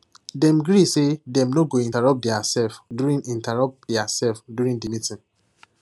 dem gree say dem no go interrupt diaself during interrupt diaself during the meeting